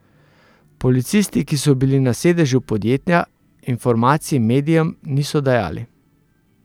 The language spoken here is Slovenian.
Policisti, ki so bili na sedežu podjetja, informacij medijem niso dajali.